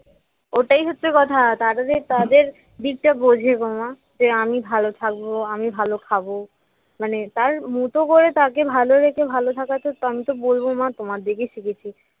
ওটাই হচ্ছে কথা তারা যে তাদের দিকটা বোঝে গো মা যে আমি ভালো থাকবো আমি ভালো খাবো মানে তার মতো করে তাকে ভালো রেখে ভালো থাকা তো আমি তো বলব মা তোমার দেখে শিখেছি